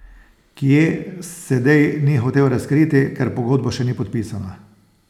Kje, Sedej ni hotel razkriti, ker pogodba še ni podpisana.